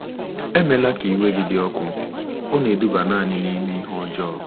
Emela ka iwe gị dị ọkụ, ọ na-eduba nanị n’ime ihe ọjọọ.